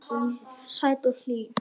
Sæt og hlý.